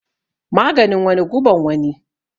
Maganin wani guban wani